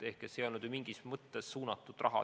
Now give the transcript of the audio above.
See ei olnud mingis mõttes suunatud raha.